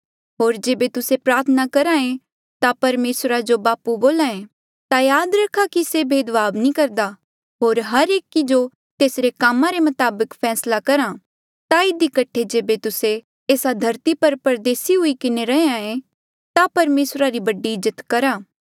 होर जेबे तुस्से प्रार्थना करहा ऐें ता परमेसरा जो बापू बोल्हे ता याद रखा कि से भेदभाव नी करदा होर हर एकी जो तेसरे कामा रे मताबक फैसला करहा ता इधी कठे जेबे तुस्से एस्सा धरती पर परदेसी हुई किन्हें रहें ता परमेसरा री बड़ी इज्जत करहा